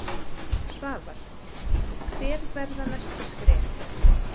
Svavar: Hver verða næstu skref?